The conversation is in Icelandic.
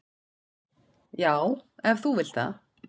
"""Já, ef þú vilt það."""